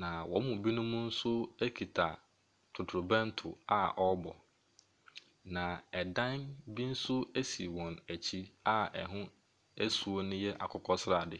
na wɔn mu binom nso kita totorobɛnto a ɔrebɔ, na dan bi nso si wɔn akyi a ɛho suo no yɛ akokɔ srade.